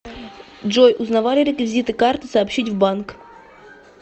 джой узнавали реквизиты карты сообщить в банк